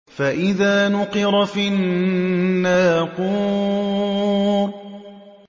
فَإِذَا نُقِرَ فِي النَّاقُورِ